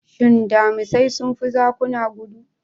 Shin Damisai sun fi zakuna gudu?